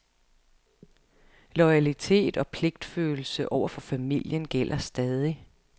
Loyalitet og pligtfølelse over for familien gælder stadig.